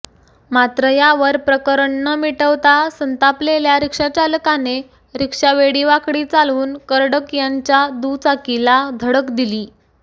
मात्र यावर प्रकरण न मिटवता संतापलेल्या रिक्षाचालकाने रिक्षा वेडीवाकडी चालवून कर्डक यांच्या दुचाकीला धडक दिली